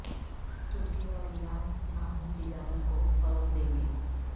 ترکی اور ایران باہمی تجارت کو فروغ دیں گے